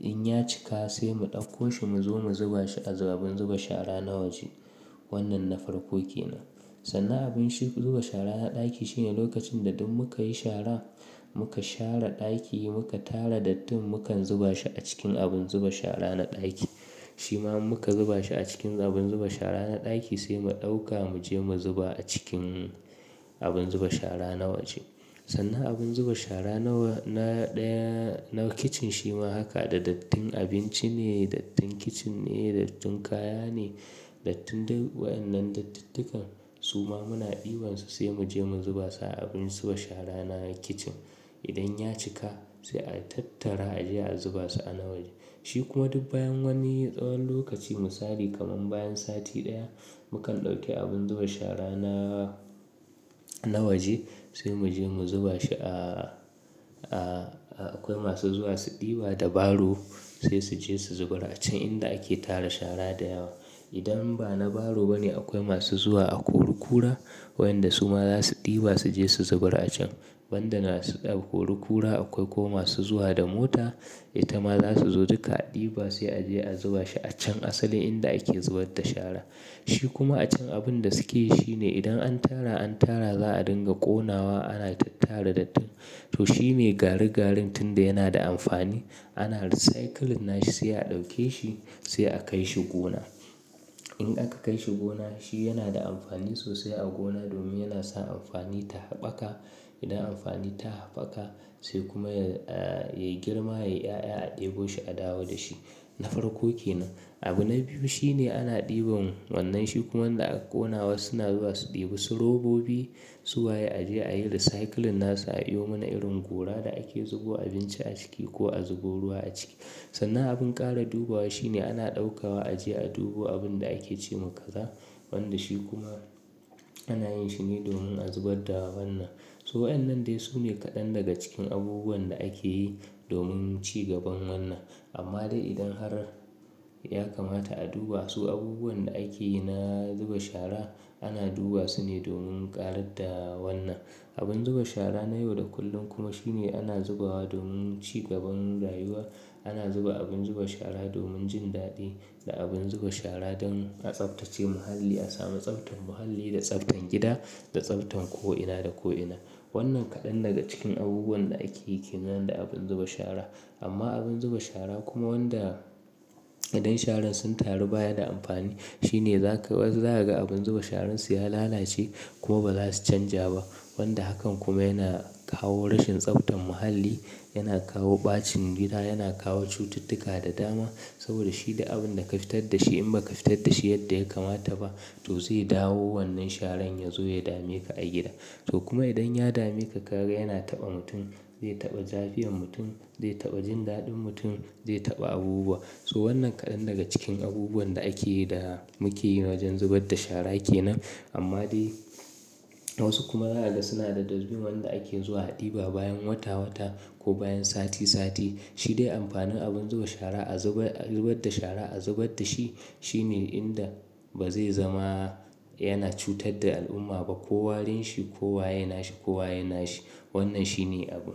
in ya cika sai mu ɗauko shi mu zo mu zuba a abin zuba shara na waje. Wannan na farko ke nan. Sannan abin zuba shara na ɗaki shine lokacin da duk muka yi shara, muka share ɗaki muka tara dattin mukan zuba shi a cikin abin zuba shara na ɗaki. Shi ma in muka zuba shi a cikin abin zuba shara na ɗaki sai mu ɗauka mu je mu zuba a cikin abin zuba shara na waje. Sannan abin zuba shara na ɗaya na kicin shi ma haka da dattin abinci ne, dattin kicin ne, dattin kaya ne, dattin waƴannan dattittukan su ma muna ɗiban su sai mu je mu zuba su a abin zuba shara na kicin. Idan ya cika sai a tattara a je a zuba su a na waje. Shi kuma duk bayan wani tsawon lokaci mu sari kaman bayan sati ɗaya mukan ɗauke abin zuba shara na, na waje sai mu je mu zuba shi a, a akwai masu zuwa su ɗiba da baro sai su je su zubar a can inda ake tara shara da yawa. Idan ba na baro ba ne akwai masu zuwa a kurukura waƴanda su ma za su ɗiba su je su zubar a can. Banda na su a kori kura akwai kuma masu zuwa da mota, ita ma za su zo duka a ɗiba sai a je a zuba shi a can asalin inda ake zubar da shara. Shi kuma a can abin da suke yi shine idan an tara, an tara za a dinga ƙonawa ana tattara dattin. To shine garigarintun da yana da amfani ana recycling nashi sai a ɗauke shi sai a kai shi gona. In aka kai shi gona shi yana da amfani sosai a gona domin yana sa amfani ta haɓaka. Idan amfani ta haɓaka sai kuma ya, ya girma, ya ƴaƴa a ɗebo shi a dawo da shi. Na farko ke nan. Abu na biyu shine ana ɗiban wannan shi kuma wanda aka ƙona wasu na zuwa su ɗiba su robobi suwaye a je a yi recycling nasu a yiyo mana irin gora da ake zubo abinci a ciki ko a zubo ruwa a ciki. Sannan abin ƙara dubawa shine ana ɗaukawa a je a dubo abin da ake ce ma kaza wanda shi kuma ana yin shi ne domin a zubar da wannan. So waƴannan dai su ne kaɗan daga cikin abubuwan da ake yi domin cigaban wannan. Amma dai idan har ya kamata a dubawa su abubuwan da ake na zuba shara ana dubawa su ne domin ƙarar da wannan. Abun zuba shara na yau da kullum kuma shine ana zubawa domin cigaban rayuwa. Ana zuba abin zuba shara domin jin daɗi da abin zuba shara don a tsaftace muhalli a sami tsaftan muhalli da tsaftan gida da tsaftan ko'ina da ko'ina. Wannan kaɗan daga cikin abubuwan da ake yi ke nan da abun zuba shara. Amma abin zuba shara kuma wanda idan sharan sun taru baya da amfani shine zaka, za ka ga abin zuba sharan su ya lalace kuma ba za su canja ba. Wanda hakan kuma yana kawo rashin tsaftan muhalli, yana kawo ɓacin gida, yana kawo cututtuka da dama saboda shi ne abin da ka fitar da shi in ba ka fitar da shi yadda ya kamata ba to zai dawo wannan sharan ya zo ya dame ka a gida. To kuma idan ya dame ka ka ga yana taɓa mutum zai taɓa zafiyan mutum, zai taɓa jindaɗin mutum, zai taɓa abubuwa. So wannan kaɗan daga cikin abubuwan da ake yi da muke yi na wajen zubar da shara yake nan. Amma dai wasu kuma za su daga suna da dozbin wanda ake zuwa a ɗiba bayan wata wata ko bayan sati sati. Shi dai amfanin abin zuba shara a zubar, a zubar da shara a zubar da shi shine inda ba zai zama yana cutar da al'umma ba ko warin shi ko waye nashi ko waye nashi. Wannan shi ne abun.